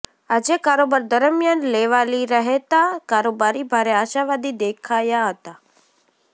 આજે કારોબાર દરમિયાન લેવાલી રહેતા કારોબારી ભારે આશાવાદી દેખાયા હતા